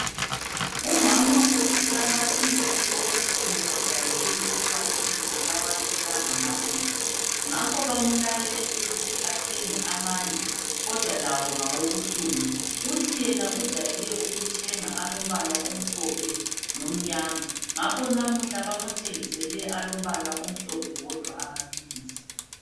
Umama uthi amaphilisi obuhlungu ojayele ukuwathenga akawatholanga namuhla, ngakho bamulayele ukuthi athenge amanye kodwa lawo ngawobuhlungu. Uthi yena ujayele ukuthenga alombala omhlophe lomnyama, ngakho namuhla bamthengisele alombala omhlophe wodwa amaphilisi.